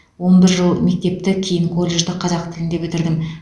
он бір жыл мектепті кейін колледжді қазақ тілінде бітірдім